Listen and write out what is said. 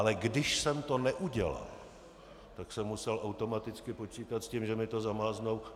Ale když jsem to neudělal, tak jsem musel automaticky počítat s tím, že mi to zamáznou.